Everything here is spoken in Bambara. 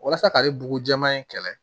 Walasa ka ne bugu jɛman in kɛlɛ